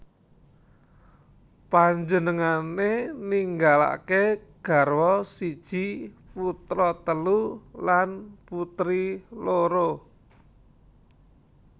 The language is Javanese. Panjenengané ninggalaké garwa siji putra telu lan putri loro